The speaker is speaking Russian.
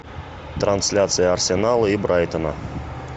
трансляция арсенала и брайтона